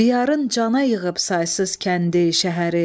Biyarın cana yığıb saysız kəndi, şəhəri.